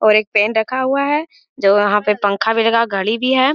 और एक पेन रखा हुआ है जो वहां पे पंखा भी लगा घड़ी भी है।